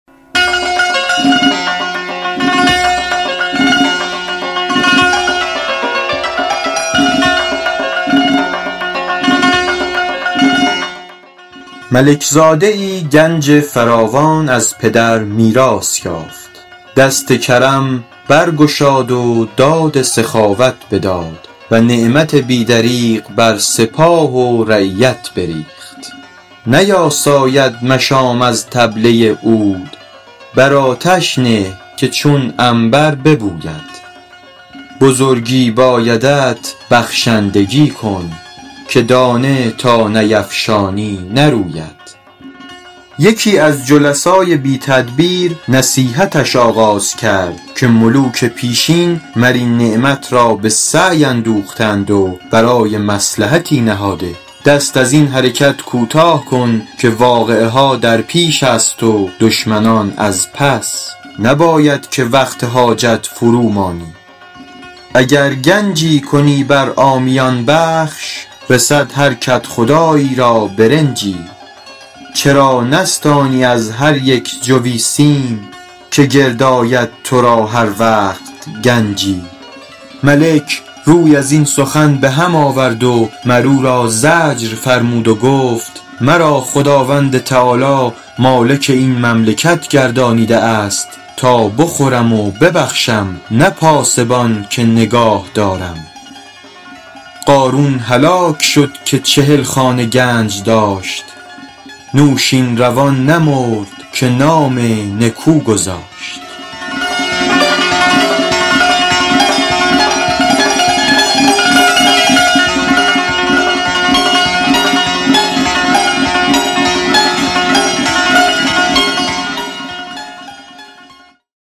ملک زاده ای گنج فراوان از پدر میراث یافت دست کرم برگشاد و داد سخاوت بداد و نعمت بی دریغ بر سپاه و رعیت بریخت نیاساید مشام از طبله عود بر آتش نه که چون عنبر ببوید بزرگی بایدت بخشندگی کن که دانه تا نیفشانی نروید یکی از جلسای بی تدبیر نصیحتش آغاز کرد که ملوک پیشین مر این نعمت را به سعی اندوخته اند و برای مصلحتی نهاده دست از این حرکت کوتاه کن که واقعه ها در پیش است و دشمنان از پس نباید که وقت حاجت فرو مانی اگر گنجی کنی بر عامیان بخش رسد هر کدخدایی را برنجی چرا نستانی از هر یک جوی سیم که گرد آید تو را هر وقت گنجی ملک روی از این سخن به هم آورد و مر او را زجر فرمود و گفت مرا خداوند تعالیٰ مالک این مملکت گردانیده است تا بخورم و ببخشم نه پاسبان که نگاه دارم قارون هلاک شد که چهل خانه گنج داشت نوشین روان نمرد که نام نکو گذاشت